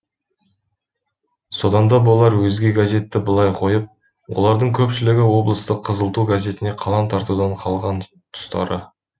соданда болар өзге газетті былай қойып олардың көпшілігі облыстық қызыл ту газетіне қалам тартудан қалған тұстары